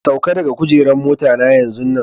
Sauka daga kujeran mota na yanzu nan!